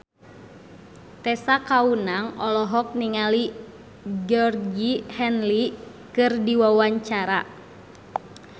Tessa Kaunang olohok ningali Georgie Henley keur diwawancara